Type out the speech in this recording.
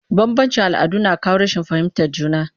Bambanci all'adu na kawo rashin fahimtar juna